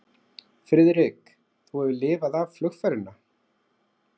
Friðrik, þú hefur lifað af flugferðina